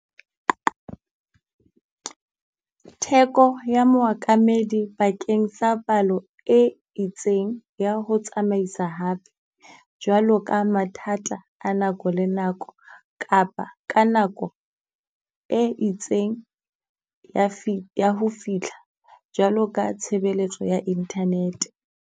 Theko ya moakamedi bakeng sa palo e itseng ya ho tsamaisa hape, jwalo ka mathata a nako le nako. Kapa ka nako e itseng ya ya ho fitlha jwalo ka tshebeletso ya internet.